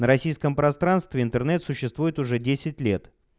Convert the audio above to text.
российском пространстве интернет существует уже десять лет